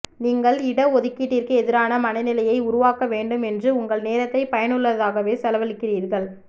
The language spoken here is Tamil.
நீங்கள் இட ஒதுக்கீட்டிற்கு எதிரான மனநிலையை உருவாக்க வேண்டும் என்று உங்கள் நேரத்தை பயனுள்ளதாகவே செலவழிக்கிறீர்கள்